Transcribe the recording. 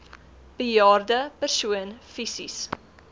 bejaarde persoon fisies